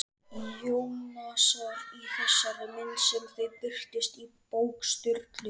Jónasar í þeirri mynd sem þau birtust í bók Sturlu?